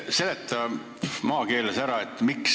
Hea ettekandja!